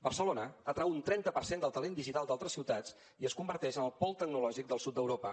barcelona atrau un trenta per cent del talent digital d’altres ciutats i es converteix en el pol tecnològic del sud d’europa